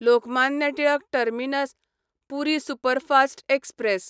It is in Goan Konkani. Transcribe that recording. Lokmanya Tilak terminus Puri superfast express